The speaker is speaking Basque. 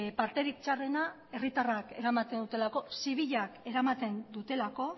parterik txarrena herritarrak eramaten dutelako zibilak eramaten dutelako